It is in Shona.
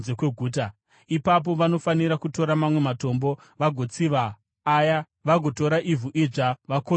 Ipapo vanofanira kutora mamwe matombo vagotsiva aya vagotora ivhu idzva vakodzura imba.